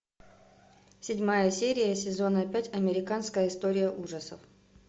седьмая серия сезона пять американская история ужасов